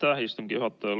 Aitäh, istungi juhataja!